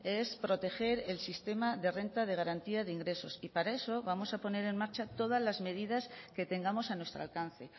es proteger el sistema de renta de garantía de ingresos y para eso vamos a poner en marcha todas las medidas que tengamos a nuestro alcance